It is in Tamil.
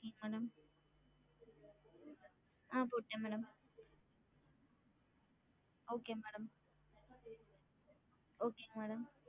ஆஹ் போட்டன் madam okay madam okay ங்க madam